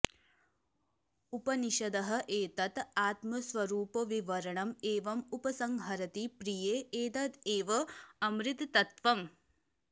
उपनिषदः एतत् आत्मस्वरूपविवरणम् एवम् उपसंहरति प्रिये एतदेव अमृतत्वम्